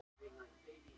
Og hver er það?